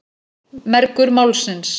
Mergur málsins.